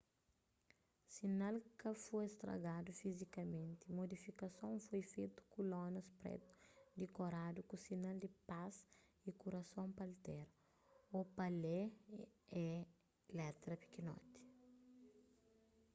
sinal ka foi stragadu fizikamenti modifikason foi fetu ku lonas pretu dikoradu ku sinal di pas y kurason pa altera o pa lê e letra pikinoti